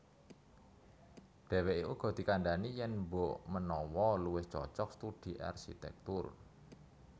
Dhèwèké uga dikandhani yèn mbokmenawa luwih cocog studi arsitèktur